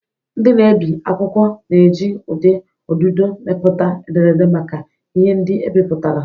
Ndị na-ebi akwụkwọ na-eji ụdị ọdụdọ mepụta ederede maka ihe ndị ebipụtara.